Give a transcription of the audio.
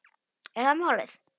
Er það málið?